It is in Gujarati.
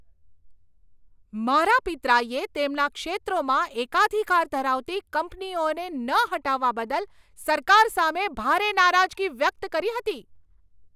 મારા પિતરાઈએ તેમના ક્ષેત્રોમાં એકાધિકાર ધરાવતી કંપનીઓને ન હટાવવા બદલ સરકાર સામે ભારે નારાજગી વ્યક્ત કરી હતી.